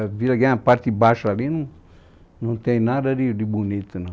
A Vila Guilherme, a parte de baixo ali, não não tem nada de de bonito, não.